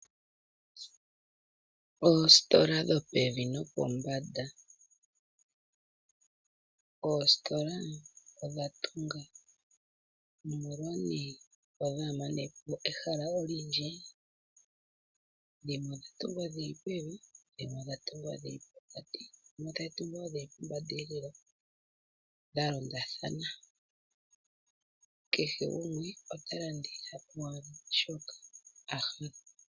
Oositola dho pevi nopombanda. Oositola odha tunga, opo dhaa mane po ehala olindji, dhimwe odha tungwa dhi li pevi, dhimwe odha tungwa dhi li pokati, dhimwe tadhi tungwa wo dhi li pombandeelela dha londathana. Kehe gumwe ota landitha shoka a hala.